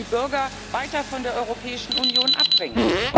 Das würde die Bürger weiter von der Europäischen Union abringen.